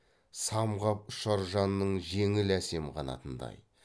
самғап ұшар жанның жеңіл әсем қанатындай